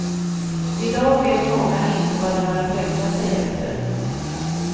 I dag vet många inte vad de har att rätta sig efter.